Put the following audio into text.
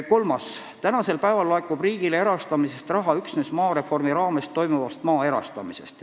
Kolmas küsimus: "Tänasel päeval laekub riigile erastamisest raha üksnes maareformi raames toimuvast maa erastamisest.